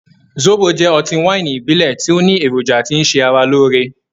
Zóbo jẹ́ ọtí wáìnì ìbílẹ̀ tí ó ní èròjà tí ń ṣe ara lóore.